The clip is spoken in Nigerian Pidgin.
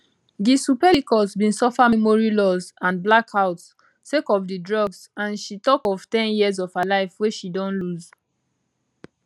gisle pelicot bin suffer memory loss and blackouts sake of di drugs and she tok of ten years of her life wey she don lose